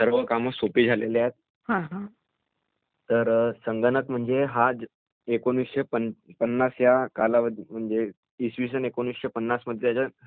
तर संगणक म्हणजे हा एकोणवीसशे पन्नास ह्या कालावधीत म्हणजे इस्विसन एकोणीसशे पन्नास त्याचा पहिला म्हणजे शोध लागला..